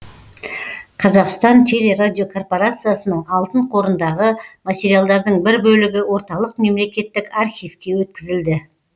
қазақстан телерадиокорпорациясының алтын қорындағы материалдардың бір бөлігі орталық мемлекеттік архивке өткізілді